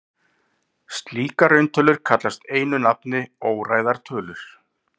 Slíkar rauntölur kallast einu nafni óræðar tölur.